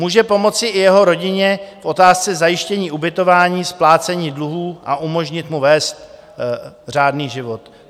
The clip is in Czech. Může pomoci i jeho rodině, v otázce zajištění ubytování, splácení dluhů a umožnit mu vést řádný život.